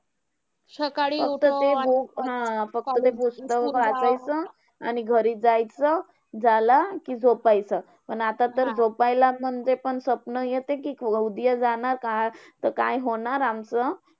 फक्त ते book, हा! फक्त ते पुस्तक वाचायचं आणि घरी जायचं, झाला की झोपायचं आणि आता तर झोपायला ते पण स्वप्न येतं, कि उदया जाणार काय तर काय होणार आमचं.